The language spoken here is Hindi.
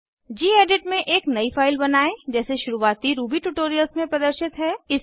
गेडिट में एक नयी फाइल बनायें जैसे शुरुवाती रूबी ट्यूटोरियल्स में प्रदर्शित है